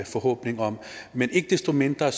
forhåbning om men ikke desto mindre